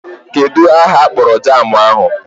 Kedụ aha akpọrọ jaamụ ahụ?